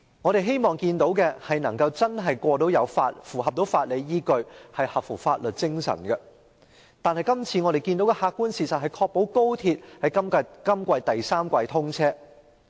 我們希望看到的是她會確保《條例草案》具有法理依據並合乎法律精神，但我們今次看到的客觀事實卻是她只想確保高鐵可於今年第三季通車。